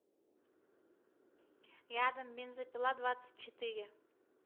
рядом бензопиладвадцатьчетыре